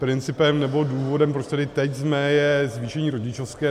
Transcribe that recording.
Principem nebo důvodem, proč tady teď jsme, je zvýšení rodičovské.